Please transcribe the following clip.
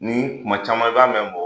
Ni kuma caman i b'a mɛn mɔgɔw